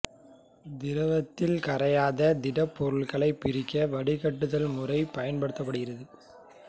திரவத்தில் கரையாத திடப் பொருள்களைப் பிரிக்க வடிகட்டுதல் முறை பயன்படுகிறது